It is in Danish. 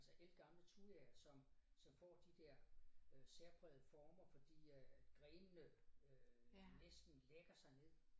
Altså ældgamle thujaer som som får de der øh særprægede former fordi øh grenene øh næsten lægger sig ned